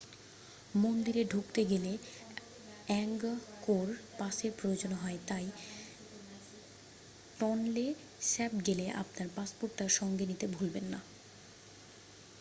মন্দিরে ঢুকতে গেলে অ্যাঙ্গকোর পাসের প্রয়োজন হয় তাই টনলে স্যাপ গেলে আপনার পাসপোর্টটা সঙ্গে নিতে ভুলবেন না